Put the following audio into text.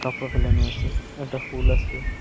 ফেলানো আসে একটা ফুল আসে।